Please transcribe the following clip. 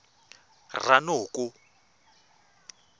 ranoko